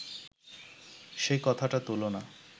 সে কথাটা তুল না